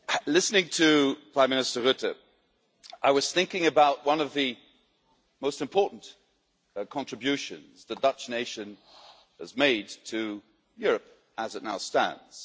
Listening to Prime Minister Rutte, I was thinking about one of the most important contributions the Dutch nation has made to Europe, as it now stands.